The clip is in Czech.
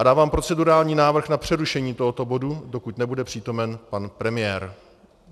A dávám procedurální návrh na přerušení tohoto bodu, dokud nebude přítomen pan premiér.